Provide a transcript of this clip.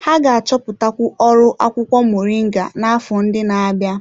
Ha ga-achọpụtakwu ọrụ akwụkwọ moringa n'afọ ndị na-abịa.